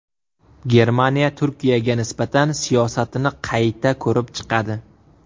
Germaniya Turkiyaga nisbatan siyosatini qayta ko‘rib chiqadi.